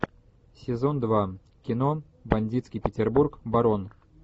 сезон два кино бандитский петербург барон